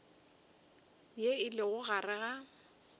ye e lego gare ga